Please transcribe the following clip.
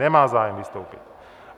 Nemá zájem vystoupit.